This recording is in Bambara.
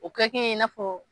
O kɛkun ye i n'a fɔ